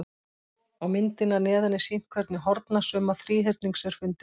Á myndinni að neðan er sýnt hvernig hornasumma þríhyrnings er fundin.